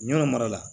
Yɔrɔ mara la